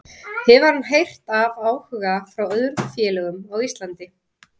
Hefur hann heyrt af áhuga frá öðrum félögum á Íslandi?